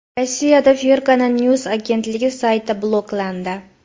Rossiyada Fergana News agentligi sayti bloklandi.